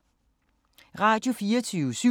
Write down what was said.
Radio24syv